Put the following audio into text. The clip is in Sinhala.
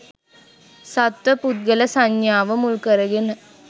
සත්ව පුද්ගල සංඥාව මුල්කරගෙන